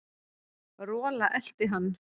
Rola elti hann.